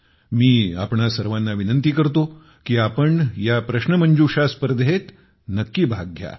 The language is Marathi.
मी आपणा सर्वांना विनंती करतो की आपण या प्रश्नोत्तरी स्पर्धेत नक्की भाग घ्या